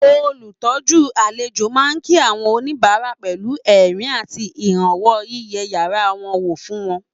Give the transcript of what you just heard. Olùtọ́jú àlejò máa ń kí àwọn oníbàárà pẹ̀lú ẹ̀rín àti ìrànwọ́ yíyẹ yàrá wọn wò fún wọn